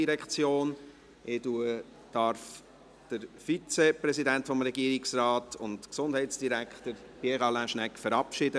Ich darf den Vizepräsidenten des Regierungsrates, den Gesundheitsdirektor Pierre Alain Schnegg, verabschieden.